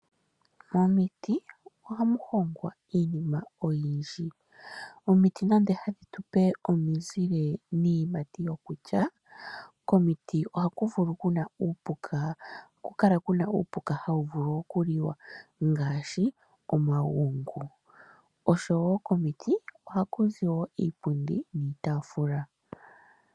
Momiti ohamu hongwa iinima oyindji. Omiti nando hadhi tu pe omizile niiyimati yokulya, komiti ohaku kala ku na uupuka hawu vulu okuliwa ngaashi omagungu. Komiti ohaku zi wo iipundi niitaafula.